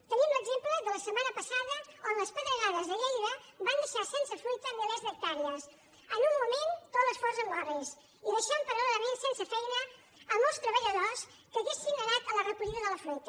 en tenim l’exemple de la setmana passada on les pedregades a lleida van deixar sense fruita milers d’hectàrees en un moment tot l’esforç en orris i deixant paral·lelament sense feina molts treballadors que haurien anat a la recollida de la fruita